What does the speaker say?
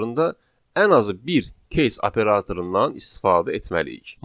ən azı bir case operatorundan istifadə etməliyik.